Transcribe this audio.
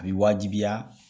A bɛ wajibiya